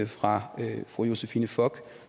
fra fru josephine fock